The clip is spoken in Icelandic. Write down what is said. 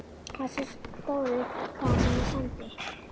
Þessi stóri krans sem hann sendi.